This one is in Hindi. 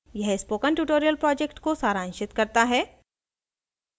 यह spoken tutorial project को सारांशित करता है